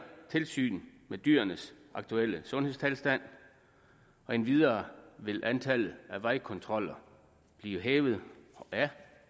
tilsyn med dyrenes aktuelle sundhedstilstand endvidere vil antallet af vejkontroller blive hævet og er